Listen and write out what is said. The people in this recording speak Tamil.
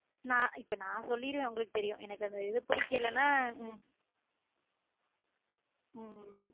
நா இப்ப நான் சொல்லிருவேன் உம் உங்களுக்கு தெரியும் அந்த இது புடிக்கலனா உம் உம்